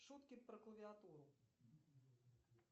шутки про клавиатуру